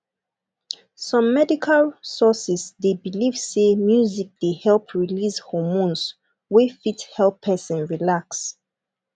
some medical sources dey belive sey music dey help release homornes wey fit help person relax